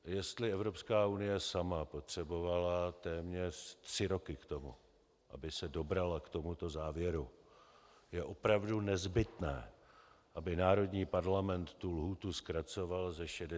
Jestli Evropská unie sama potřebovala téměř tři roky k tomu, aby se dobrala k tomuto závěru, je opravdu nezbytné, aby národní parlament tu lhůtu zkracoval ze 60 na 30 dnů?